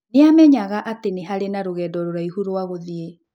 Nĩ aamenyaga atĩ nĩ harĩ na rũgendo rũraihu rwa gũthiĩ.